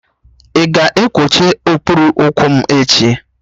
Ị ga-ekwocha okpuru ụkwụ m echi?